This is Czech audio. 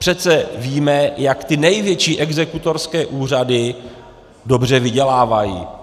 Přece víme, jak ty největší exekutorské úřady dobře vydělávají.